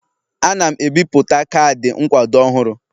Ana m ebipụta kaadị nkwado ọhụrụ